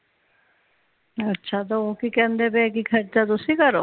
ਅੱਛਾ ਤੇ ਉਹ ਕਿ ਕਹਿੰਦੇ ਤੇ ਕਿ ਖਰਚਾ ਤੁਸੀਂ ਕਰੋ